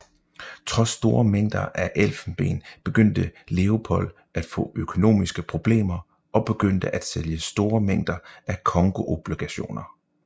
Trods store mængder af elfenben begyndte Leopold at få økonomiske problemer og begyndte at sælge store mængder af congoobligationer